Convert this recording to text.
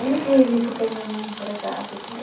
Ele vive, porque ele não é empregado.